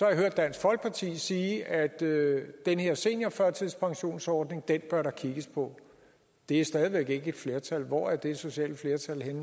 jeg hørt dansk folkeparti sige at den her seniorførtidspensionsordning bør der kigges på det er stadig væk ikke et flertal hvor er det sociale flertal